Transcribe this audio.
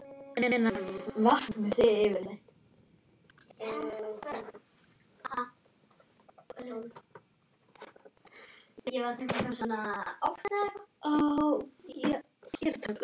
Einar Eyland.